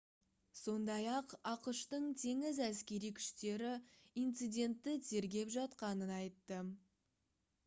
сондай-ақ ақш-тың теңіз әскери күштері инцидентті тергеп жатқанын айтты